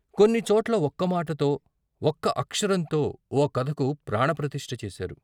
కొన్నిచోట్ల ఒక్కమాటతో, ఒక్క అక్షరంతో ఓ కథకు ప్రాణప్రతిష్ఠ చేశారు.